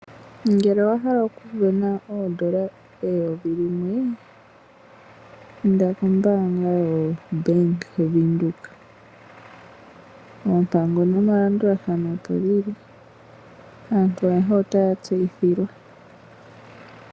Ngele owahala okusindana N$1000 inda kombaanga yaBank Windhoek oompango nomalandulathano opo dhili aantu ayehe otaya tseyithilwa.